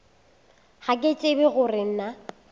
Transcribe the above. ga ke tsebe gore na